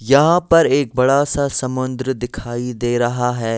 यहाँ पर एक बड़ा सा समुंद्र दिखाई दे रहा है।